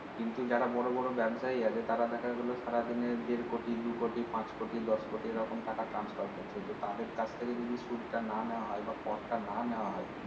কিন্তু যারা বড় বড় ব্যাবসায়ী আছে তারা দেখা গেলো সারাদিনে দেড় কোটি দু কোটি পাঁচ কোটি দশ কোটি এরকম টাকা transfer করছে এতে তাদের কাছ থেকে যদি সুদ টা না নেওয়া হয় বা কর টা না নেওয়া হয়